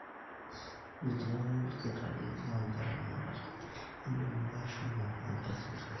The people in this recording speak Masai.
metii olkitari loo nkera tenakata ,indim ake ashomo enkae sipitali